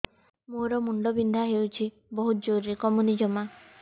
ମୋର ମୁଣ୍ଡ ବିନ୍ଧା ହଉଛି ବହୁତ ଜୋରରେ କମୁନି ଜମା